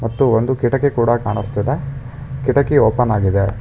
ಮತ್ತು ಒಂದು ಕಿಟಕಿ ಕೂಡ ಕಾಣಿಸ್ತಿದೆ ಕೆಟಕಿ ಓಪನ್ ಆಗಿದೆ.